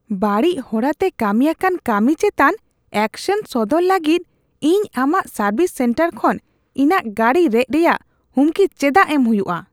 ᱵᱟᱹᱲᱤᱡ ᱦᱚᱨᱟ ᱛᱮ ᱠᱟᱹᱢᱤ ᱟᱠᱟᱱ ᱠᱟᱹᱢᱤ ᱪᱮᱛᱟᱱ ᱮᱠᱥᱮᱱ ᱥᱚᱫᱚᱨ ᱞᱟᱹᱜᱤᱫ ᱤᱧ ᱟᱢᱟᱜ ᱥᱟᱨᱵᱷᱤᱥ ᱥᱮᱱᱴᱟᱨ ᱠᱷᱚᱱ ᱤᱧᱟᱹᱜ ᱜᱟᱹᱰᱤ ᱨᱮᱡ ᱨᱮᱭᱟᱜ ᱦᱩᱢᱠᱤ ᱪᱮᱫᱟᱜ ᱮᱢ ᱦᱩᱭᱩᱜᱼᱟ ? (ᱜᱟᱦᱟᱠ)